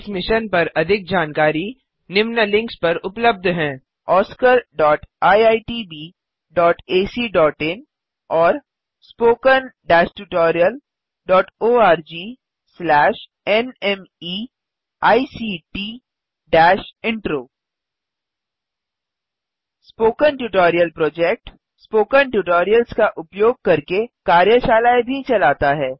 इस मिशन पर अधिक जानकारी निम्न लिंक्स पर उपलब्ध है oscariitbacइन और httpspoken tutorialorgNMEICT Intro spoken tutorial project spoken tutorials का उपयोग करके कार्यशालाएँ भी चलाता है